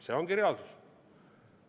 See ongi reaalsus.